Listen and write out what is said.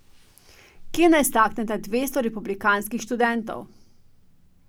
Kje naj stakneta dvesto republikanskih študentov?